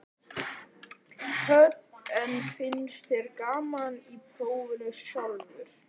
Hödd: En finnst þér gaman í prófinu sjálfu?